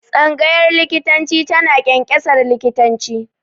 Faculty of medicine produces Doctors.